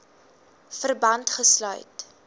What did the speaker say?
verband gesluit